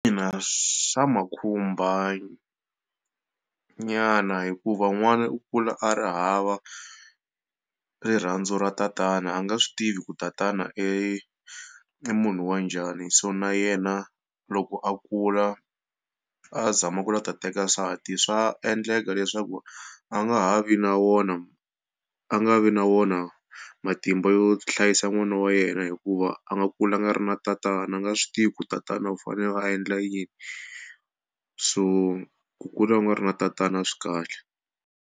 swa ma khumba nyana hikuva n'wana u kula a ri hava rirhandzu ra tatana a nga swi tivi ku tatana i munhu wa njhani so na yena loko a kula a zama ku lava ku ta teka nsati swa endleka leswaku a nga ha vi na wona a nga vi na wona matimba yo hlayisa n'wana wa yena hikuva a nga kulanga a ri na tatana a nga swi tivi ku tatana u fanele a endla yini so ku kula u nga ri na tatana swi kahle.